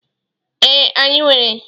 Ee, anyị nwere.